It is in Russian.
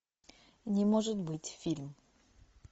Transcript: не может быть фильм